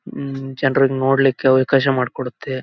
ಹ್ಮ್ಮ್ ಜನರಿಗ್ ನೋಡಕ್ಕೂ ಅವಕಾಶ ಮಾಡಿಕೊಡತ್ತೆ.